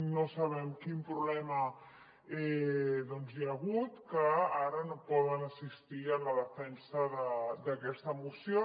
no sabem quin problema hi ha hagut que ara no poden assistir a la defensa d’aquesta moció